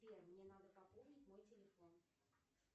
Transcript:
сбер мне надо пополнить мой телефон